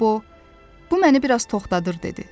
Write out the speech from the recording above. Qobo, bu məni biraz toxtadır, dedi.